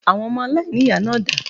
Àwọn ọmọ aláìníyàá náà dà?